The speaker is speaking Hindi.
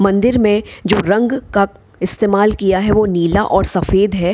मंदिर में जो रंग कप इस्तमाल किया है वो नीला और सफेद है।